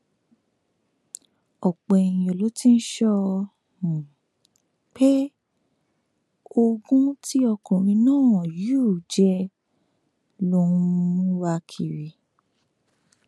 ọpọ èèyàn ló ti ń sọ um pé ogún tí ọkùnrin náà yù jẹ ló ń um wá kiri